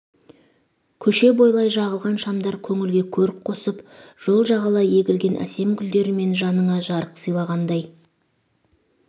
көше бойлай жағылған шамдар көңілге көрік қосып жол жағалай егілген әсем гүлдерімен жаныңа жарық сыйлағандай